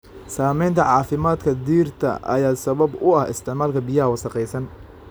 Saamaynta caafimaadka dhirta ay sabab u tahay isticmaalka biyaha wasakhaysan.